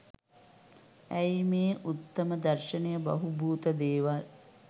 ඇයි මේ උත්තම දර්ශණය බහූබූත දේවල්